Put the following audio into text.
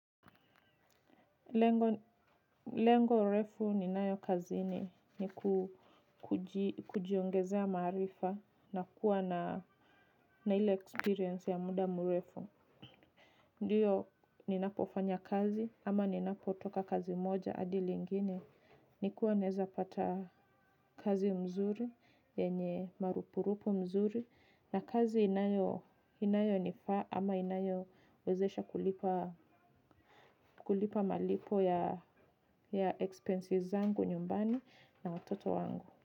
Lengo refu ninayo kazini ni kujiongezea marifa na kuwa na ile experience ya muda mrefu. Ndiyo ninapofanya kazi ama ninapotoka kazi moja adi lingine. Nikuwa neza pata kazi mzuri, yenye marupu rupu mzuri. Na kazi inayonifa ama inayowezesha kulipa malipo ya expenses zangu nyumbani na watoto wangu.